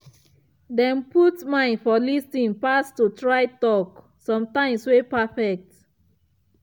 dem put mind for lis ten pass to try talk something wey perfect.